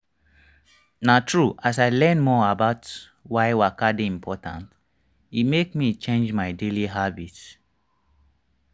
na true as i learn more about why waka dey important e make me change my daily habits.